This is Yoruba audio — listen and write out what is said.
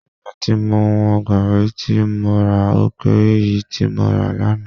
Ìgbà tí mo wọn Gaàrí tí mo rà ó kééré èyí tí mo rà lánàá